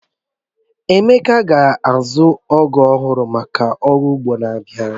Emeka ga-azu ọgú ọhụrụ maka ọrụ ugbo n'abia